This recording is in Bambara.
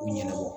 U ɲɛnabɔ